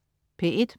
P1: